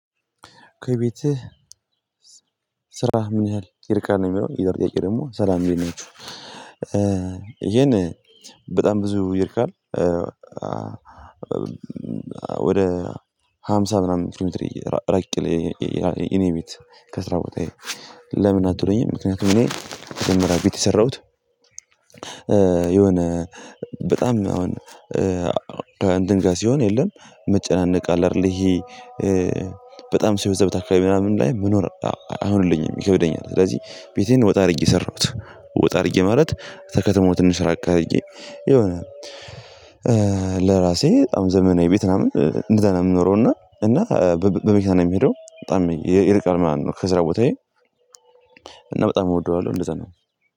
ከቤትህ ስራህ ምን ያህል ይርቃንዠል ነው የሚለው ሌላው ደግሞ ሰላም ቤት ነው። ይሄን በጣም ብዙ ይርቃል። ወደ ሃምሳ ምናምን ኪሎ ሜትር ይሮቃል። የኔ ቤት ከስራ ቦታ ለምን አትወደኝም? ምክንያቱም እኔ የተጀመረ ቤት የሰራሁት የሆነ በጣም አሁን እንድንገልጽ የለም። መጨናነቅ አለ አይደል ይሄ በጣም ሰው የበዛበት አከባቢ ላይ ምናምን ላይ መኖር አይሁንልኝም ይከብደኛል። ስለዚህ ቤቴን ወጣ አድርጌ ሰራሁት ወጣ አድርጌ ማለት ከከትማው ትንሽ ራቅ አድርጌ የሆነ ለራሴ በጣም ዘመናዊ ቤት ምናምን እንደዛ ነው የምኖረው። እና እና በመኪናየ ነው ምሄደው በጣም ይርቃል ማለት ነው። ከስራ ቦታዬ እና በጣም እወደዋለሁ እንደዛ ነው